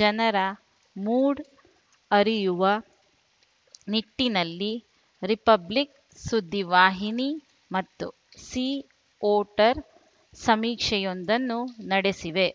ಜನರ ಮೂಡ್‌ ಅರಿಯುವ ನಿಟ್ಟಿನಲ್ಲಿ ರಿಪಬ್ಲಿಕ್‌ ಸುದ್ದಿವಾಹಿನಿ ಮತ್ತು ಸಿ ವೋಟರ್‌ ಸಮೀಕ್ಷೆಯೊಂದನ್ನು ನಡೆಸಿವೆ